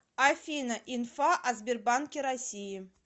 афина инфа о сбербанке россии